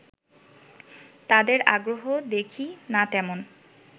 তাদের আগ্রহ দেখি না তেমন